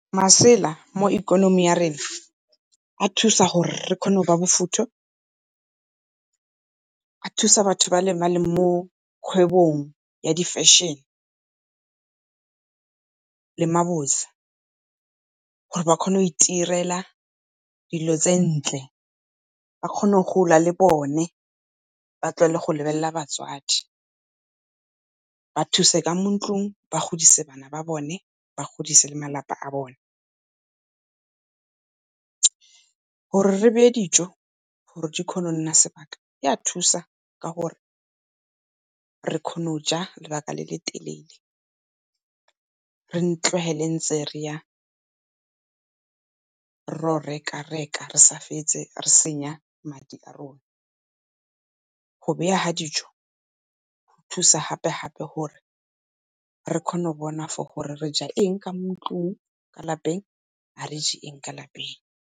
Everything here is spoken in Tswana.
Masela mo ikonomi ya rena a thusa gore re kgone go ba bofutho, a thusa batho ba o ba le mo kgwebong ya di-fashion, le gore ba kgone go itirela dilo tse ntle ba kgone go gola le bone ba tlohela go lebelela batswadi, ba thuse ka mo ntlung, ba godise bana ba bone, ba godise le malapa a bone. Gore re beye dijo gore di kgone go nna sebaka e a thusa ka gore, re kgona go ja lebaka le le telele, re tlogele ntse re ya ro reka-reka re sa fetse re senya madi a rona. Go bega dijo go thusa gape-gape gore re kgone go bona for gore, re ja eng ka mo ntlung ka lapeng ga le je eng ka lapeng.